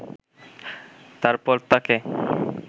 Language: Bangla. তারপর তাকে